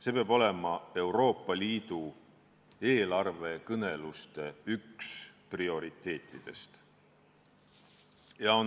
See peab olema Euroopa Liidu eelarvekõneluste üks prioriteetidest.